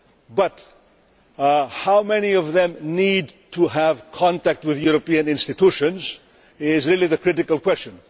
But how many of them need to have contact with the European institutions is really the critical question.